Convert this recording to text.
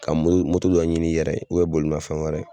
Ka dɔ ɲini i yɛrɛ ye bolimanfɛn wɛrɛ